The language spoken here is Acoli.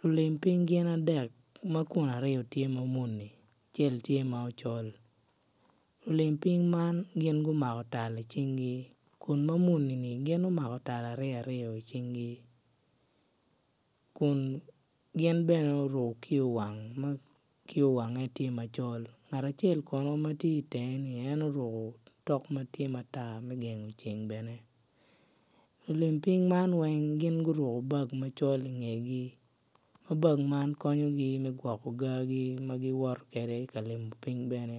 Lulim piny gin adek ma kun aryo tye ma muni acel tye ma ocol lulim piny man gin gumako tal icingi kun ma muni-ni gin gumako tal ary aryo icingi kung gin bene guruko kiyo wang ma kiyo wange tye macol ngat acel kono matye itenge ni en oruko otok matye matar me gengo ceng bene lulim piny man weng gin guruko bag macol ingegi ma nag man konyogi me gwoko gaa ma gin woto kwede ka limo piny bene